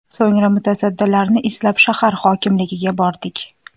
So‘ngra mutasaddilarni izlab, shahar hokimligiga bordik.